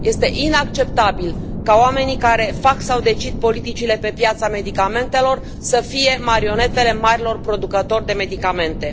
Este inacceptabil ca oamenii care fac sau decid politicile pe piața medicamentelor să fie marionetele marilor producători de medicamente.